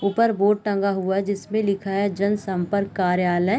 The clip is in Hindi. ऊपर बोर्ड टंगा हुआ जिसमें लिखा है जन संपर्क कार्यालय।